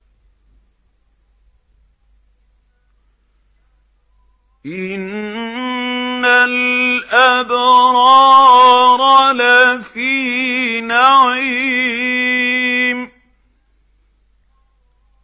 إِنَّ الْأَبْرَارَ لَفِي نَعِيمٍ